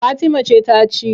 Fatima ce ta ci.